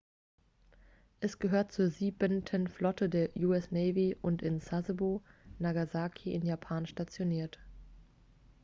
es gehört zur siebenten flotte der us navy und in sasebo nagasaki in japan stationiert